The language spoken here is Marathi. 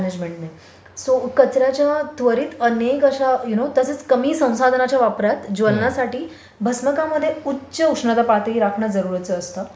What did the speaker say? म्यानेजमेंटमध्ये. सो कचर् याच्या त्वरित अनेक अशा यू नो तसेच कमी संसाधनाच्या वापरात ज्वलनासाठी भस्मकांमध्ये उच्च उष्णता पातळी राखणे जरुरीचे असते.